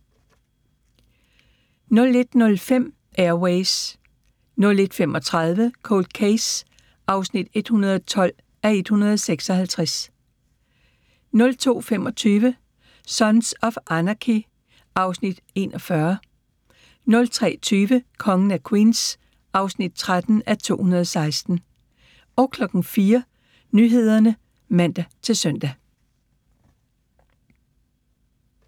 01:05: Air Ways 01:35: Cold Case (112:156) 02:25: Sons of Anarchy (Afs. 41) 03:20: Kongen af Queens (13:216) 04:00: Nyhederne (man-søn)